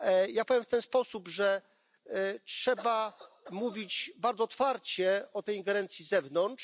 Ja powiem w ten sposób, że trzeba mówić bardzo otwarcie o tej ingerencji z zewnątrz.